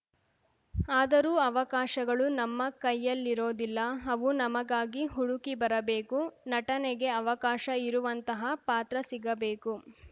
ಆದರೂ ಅವಕಾಶಗಳು ನಮ್ಮ ಕೈಯಲ್ಲಿರೋದಿಲ್ಲ ಅವು ನಮಗಾಗಿ ಹುಡುಕಿ ಬರಬೇಕು ನಟನೆಗೆ ಅವಕಾಶ ಇರುವಂತಹ ಪಾತ್ರ ಸಿಗಬೇಕು